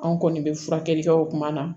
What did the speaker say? Anw kɔni bɛ furakɛli kɛ o kuma na